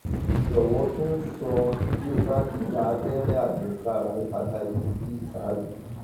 jọwọ tún sọ um bí o bá ti gba abẹrẹ àjẹsára hepatitis b ṣáájú